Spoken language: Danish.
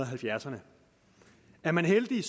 halvfjerdserne er man heldig